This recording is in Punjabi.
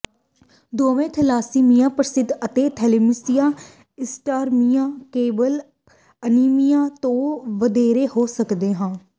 ਦੋਵੇਂ ਥੈਲਾਸੀਮੀਆ ਪ੍ਰਮੁੱਖ ਅਤੇ ਥੈਲੇਸੀਮੀਆ ਇੰਟਰਮੀਮੀਆ ਕੇਵਲ ਅਨੀਮੀਆ ਤੋਂ ਵਧੇਰੇ ਹੋ ਸਕਦੇ ਹਨ